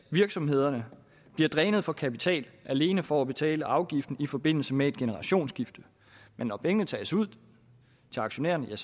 virksomhederne bliver drænet for kapital alene for at betale afgift i forbindelse med et generationsskifte når pengene tages ud til aktionærerne